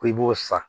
Ko i b'o san